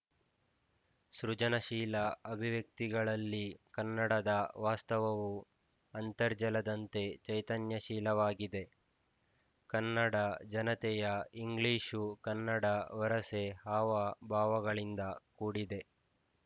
ಸೃಜನಶೀಲ ಅಭಿವ್ಯಕ್ತಿಗಳಲ್ಲಿ ಕನ್ನಡದ ವಾಸ್ತವವು ಅಂತರ್ಜಲದಂತೆ ಚೈತನ್ಯಶೀಲವಾಗಿದೆ ಕನ್ನಡ ಜನತೆಯ ಇಂಗ್ಲಿಶು ಕನ್ನಡ ವರಸೆ ಹಾವಭಾವಗಳಿಂದ ಕೂಡಿದೆ